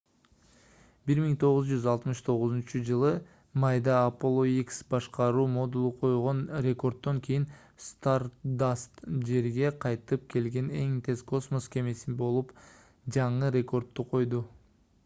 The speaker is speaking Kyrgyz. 1969-ж майда apollo x башкаруу модулу койгон рекорддон кийин stardust жерге кайтып келген эң тез космос кемеси болуп жаңы рекордду койду